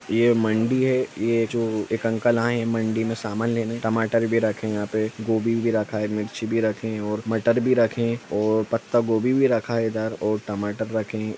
ये मंडी है ये जो एक अंकल आये है मंडी मे सामान लेने टमाटर भी रखे है यहाँ पे गोभी भी रखा है मिर्ची भी रखे है और मटर भी रखे है और पता गोभी भी रखा इधर और टमाटर रखे है।